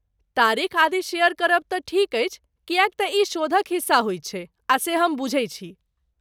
तारीख आदि शेयर करब तक तँ ठीक अछि, किए तँ ई शोधक हिस्सा होइ छै, आ से हम बुझै छी।